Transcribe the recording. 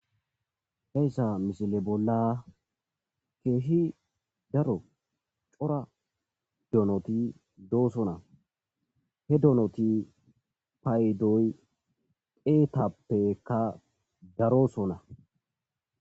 Heyssa mishile bolla keeshi daro cora donoti doosona he donoti payidoy deetappekka darosona.